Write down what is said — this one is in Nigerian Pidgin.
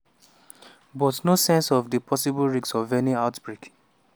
but no sense of di possible risks of any outbreak.